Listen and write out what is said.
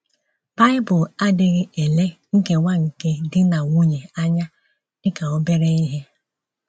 Bible adịghị ele nkewa nke di na nwunye anya dị ka obere ihe.